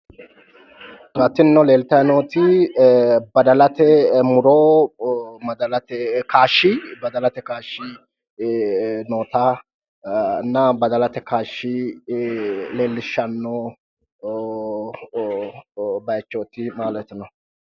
Hattini leeltanni nooti badalate muro badalate kaashshi noota badalate kaashshi leellishshanno baayichooti maaleti newu